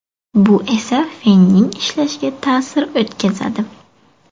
Bu esa fenning ishlashiga ta’sir o‘tkazadi.